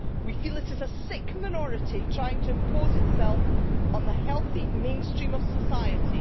We feel it is a sick minority trying to impose itself on the healthy mainstream of society'.